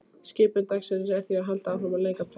Skipun dagsins er því að halda áfram að leika prest.